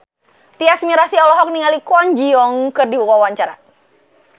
Tyas Mirasih olohok ningali Kwon Ji Yong keur diwawancara